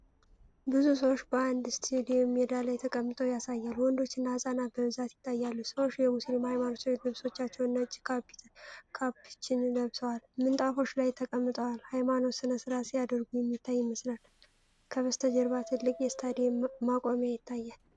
ብዙ ሰዎች በአንድ ስታዲየም ሜዳ ላይ ተቀምጠው ያሳያል። ወንዶችና ህፃናት በብዛት ይታያሉ። ሰዎች የሙስሊም ሃይማኖታዊ ልብሶችንና ነጭ ካፖችን ለብሰዋል። ምንጣፎች ላይ ተቀምጠው ሃይማኖታዊ ሥነ ሥርዓት ሲያደርጉ የሚታይ ይመስላል። ከበስተጀርባ ትልቅ የስታዲየም መቆሚያ ይታያል።